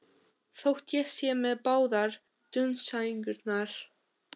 Þótt ég sé með báðar dúnsængurnar.